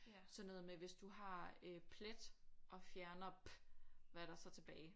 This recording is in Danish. Sådan noget med hvis du har øh plet og fjerner p hvad er der så tilbage